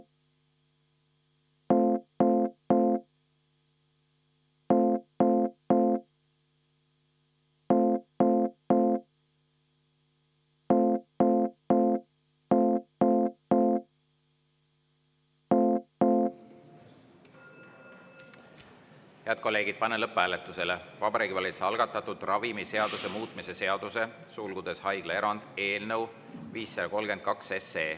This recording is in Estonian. Head kolleegid, panen lõpphääletusele Vabariigi Valitsuse algatatud ravimiseaduse muutmise seaduse eelnõu 532.